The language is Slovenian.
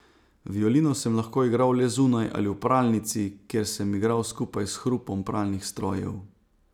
Violino sem lahko igral le zunaj ali v pralnici, kjer sem igral skupaj s hrupom pralnih strojev.